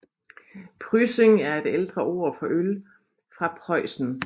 Pryssing er et ældre ord for øl fra Preussen